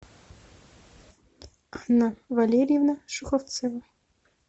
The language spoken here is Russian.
анна валерьевна шуховцева